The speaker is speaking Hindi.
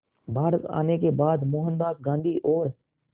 भारत आने के बाद मोहनदास गांधी और